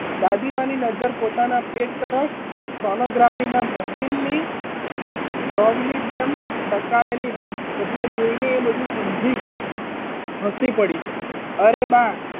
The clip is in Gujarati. દાદીમાની નજર પોતાના પેટ તરફ સોનોગ્રાફીના મશીનની જેમ ટકાયેલી હતી એટલે જોઈને એ બધું સમજી ગઈ હસી પડી અરે બા,